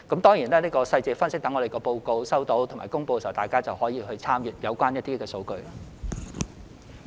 當然，就詳細的分析，在我們接獲及公布報告後，大家可以參閱有關數據。